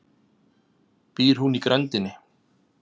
Býr hún í grenndinni?